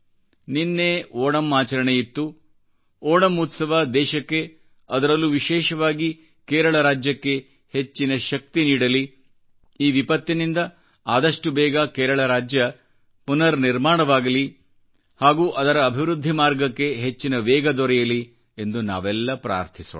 ನಿನ್ನೆ ಓಣಂ ಆಚರಣೆಯಿತ್ತು ಓಣಂ ಉತ್ಸವ ದೇಶಕ್ಕೆ ಅದರಲ್ಲೂ ವಿಶೇಷವಾಗಿ ಕೇರಳ ರಾಜ್ಯಕ್ಕೆ ಹೆಚ್ಚಿನ ಶಕ್ತಿನೀಡಲಿ ಈ ವಿಪತ್ತಿನಿಂದ ಆದಷ್ಟು ಬೇಗ ಕೇರಳ ರಾಜ್ಯ ಪುನರ್ ನಿರ್ಮಾಣವಾಗಲಿ ಹಾಗೂ ಅದರ ಅಭಿವೃದ್ಧಿ ಮಾರ್ಗಕ್ಕೆ ಹೆಚ್ಚಿನ ವೇಗ ದೊರೆಯಲಿ ಎಂದುನಾವೆಲ್ಲ ಪ್ರಾರ್ಥಿಸೋಣ